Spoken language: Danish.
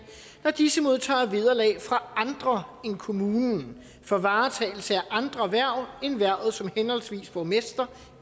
når disse modtager vederlag fra andre end kommunen for varetagelse af andre hverv end hvervet som henholdsvis borgmester